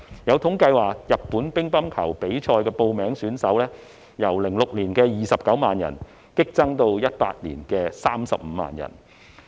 有統計指出，報名參加日本乒乓球比賽的人數由2006年的29萬人激增至2018年的35萬人。